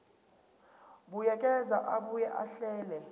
buyekeza abuye ahlele